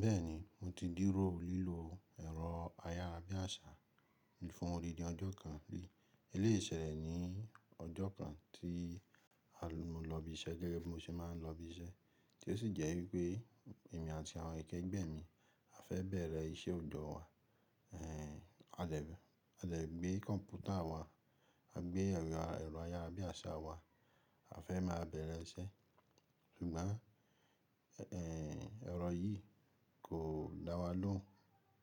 Bẹ́ẹ̀ni mo ti di ró lìlò ẹ̀rọ ayárabíàṣá fún odidi ọjọ́ kan rí eléyè sẹ̀lẹ̀ ní ọjọ́ kan tí a mo lọ ibi iṣẹ́ gẹ́gẹ́ bí mo se máa ń lọ ibi iṣẹ́ tí ó sì jẹ́ wípé èmi àti àwọn èké gbẹ̀emí a fẹ́ bẹ̀rẹ̀ iṣẹ́ ọ̀dọ̀ wa. A dẹ̀ gbé kọ̀m̀pútà wa, a gbé ẹ̀rọ ayárabíàṣá wa, a fẹ́ máa bẹ̀rẹ̀ iṣẹ́ ṣùgbọ́n ee, ẹ̀rọ yìí kò dá wa lóhùn,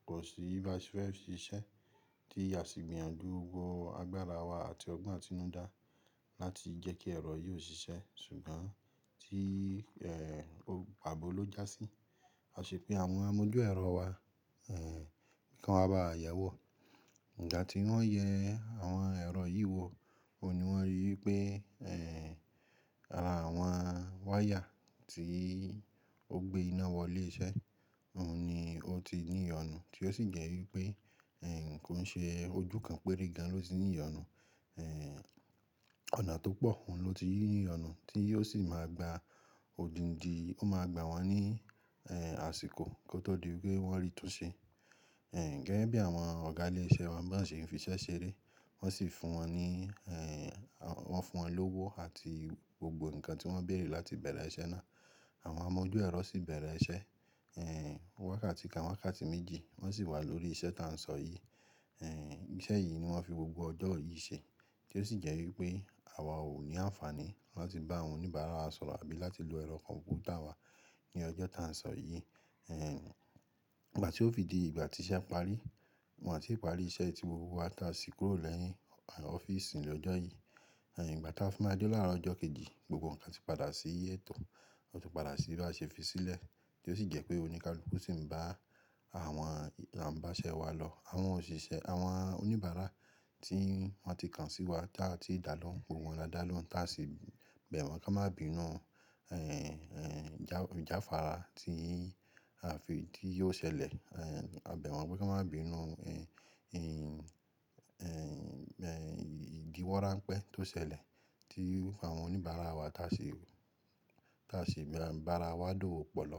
kò sí báa ṣe fẹ́ ṣiṣẹ́ tí á sì gbìyànjú gbo agbára wa àti ọgbọ́n atinúdá láti jẹ́ kí ẹ̀rọ yìí ò ṣiṣẹ́ ṣùgbọ́n tí ee- paabo ló jásí. A ṣe pé àwọn amójú ẹ̀rọ wa, nǹ kan wa ba wà yẹ̀wò nígbà tí wọ́n yẹ àwọn ẹ̀rọ yìí wò. Ohun ni wọ́n rí wípé ee- ara àwọn wire tí ó gbé iná wọ ilé iṣẹ́ ohun ni óti ní ìyọnu, tí ó sì jẹ́ wípé ee- kòn ṣe ojú kan péere ni óti n'íyọnu, ee ọ̀nà tó pọ̀ òhun ló ti ní ìyọnu tí ó sì máa gbaa òdìndì, ó máa gbà won ní ee- àsìkò kó tó di pé wọ́n rí tún ṣe ee. Gẹ́gẹ́ bí àwọn ọ̀gá ilé iṣẹ́ wa ba ń ṣe fi iṣẹ́ ṣeré wọ́n sì fún wọn ní ee- wọ́n fún wọn lówó àti gbogbo nǹkan tí wọ́n béèrè láti bẹ̀erẹ̀ iṣẹ́ náà. Àwọn amójú ẹ̀rọ sì bẹ̀rẹ̀ iṣẹ́ wákàtí kán wákàtí méjì wọ́n sì wà lórí iṣẹ́ ta ń sọ yìí ee. Iṣẹ́ yìí ni wọ́n fi gbogbo ọjọ́ yìí ṣe tí ó sì jẹ́ wípé àwa ò ní àǹfààní láti bá àwọn oníbàárà wa sọ̀rọ̀ àbí láti lo ẹ̀rọ kọ̀m̀pútà wa ní ọjọ́ ta ń sọ yìí ee-. Ìgbà tí ó fi di ìgbà tí iṣẹ́ parí, wọ́n n ti parí iṣẹ́ ti gbogbo wa taa sì kúrò lẹ́yìn ọ́fíìsì ní ọjọ́ yìí. Ìgbà táa fi máa dé láàárọ̀ ọjọ́ kejì gbogbo nǹkan sì padà sí ẹ̀tọ̀, ó ti padà sí baá ṣe fi sílẹ̀ tí ó sì jẹ́ pé oníkálùkù sì ń bá àwọn àa n bàṣẹ wa lọ, àwọn òṣìṣẹ́ àwọn oníbàárà tí wọ́n ti kàn sí wa táa tii dà lọ́hun, gbogbo wọn dà lọ́hun ta sì bẹ̀ wọ́n kán má bínú ee ìjàfára tíi aa fi ti ó ṣẹlẹ̀, a bẹ̀ wọ́n pé kan má bínú ìdiwọ́rámpẹ́ tó ṣẹlẹ̀ tí àwọn oníbàárà wa taa sì- taa si ń bàárà wa dowó pọ lọ.